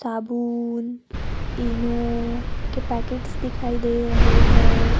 साबुन ईनो के पैकेट्स दिखाई दे रहे हैं।